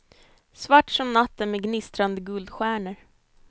Svart som natten med gnistrande guldstjärnor.